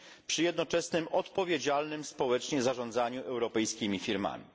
przy jednoczesnym odpowiedzialnym społecznie zarządzaniu europejskimi firmami.